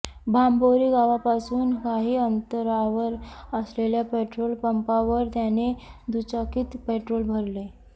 बांभोरी गावापासून काही अंतरावर असलेल्या पेट्रोल पंपावर त्याने दुचाकीत पेट्रोल भरले